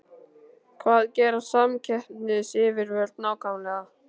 Hvað gera samkeppnisyfirvöld nákvæmlega?